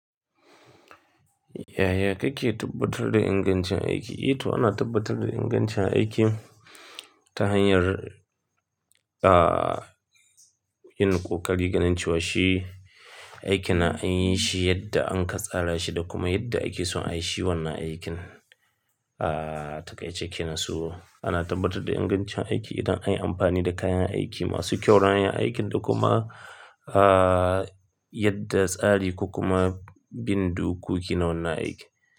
Yaya kake tabbatar da ingancin aiki? Eh to ana tabbatar da ingancin aikin ta hanyar, ah, yin ƙoƙari ganin cewa shi aikina an yi shi yadda an katsara shi da kuma yadda ake son a yi shi wannan aikin. Ah, takaice kenan so. Ana tabbatar da ingancin aiki idan an yi amfani da kayan aiki masu kyau ran yin aikin da kuma, ah, yadda tsari ko kuma bin dokoki na wannan aiki.